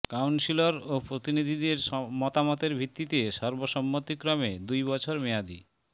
councillor ও প্রতিনিধিদের মতামতের ভিত্তিতে সর্বসম্মতিক্রমে দুই বছর মেয়াদী